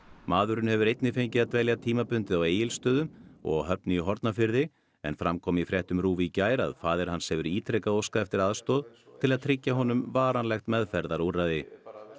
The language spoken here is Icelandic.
maðurinn hefur einnig fengið að dvelja tímabundið á Egilsstöðum og á Höfn í Hornafirði en fram kom í fréttum RÚV í gær að faðir hans hefur ítrekað óskað eftir aðstoð til að tryggja honum varanlegt meðferðarúrræði